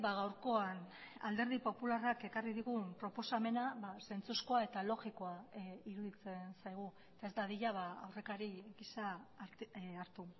gaurkoan alderdi popularrak ekarri digun proposamena zentzuzkoa eta logikoa iruditzen zaigu ez dadila aurrekari gisa hartu